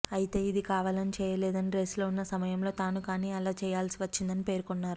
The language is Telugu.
అయితే ఇది కావాలని చేయలేదని రేసులో ఉన్న సమయంలో తాను కానీ అలా చేయాల్సి వచ్చిందని పేర్కొన్నారు